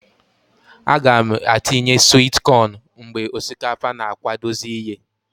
A g' m atinye swit cọn mgbe osikapa na akwadozi iye.